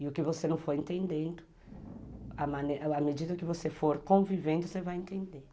E o que você não for entendendo, à medida que você for convivendo, você vai entendendo.